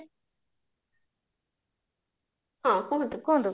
ହଁ କୁହନ୍ତୁ କୁହନ୍ତୁ